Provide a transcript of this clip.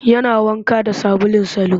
Yana wanka da sabulun salo